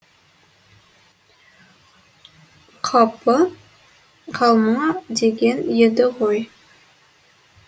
қапы қалма деген еді ғой